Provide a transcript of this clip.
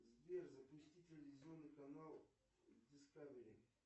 сбер запусти телевизионный канал дискавери